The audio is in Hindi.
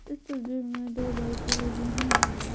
इस तस्वीर में दो बाइके लगी हुई हैं।